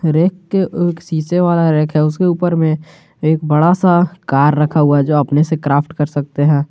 Rack के शीशे वाला रैक है उसके ऊपर में एक बड़ा सा कार रखा हुआ जो अपने से क्राफ्ट कर सकते हैं।